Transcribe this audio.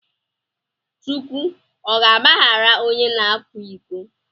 Chukwu ọ ga agbaghara ọnye na akwa iko?